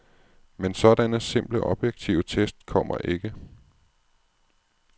Men sådanne simple objektive test kommer ikke.